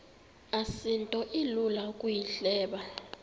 asinto ilula ukuyihleba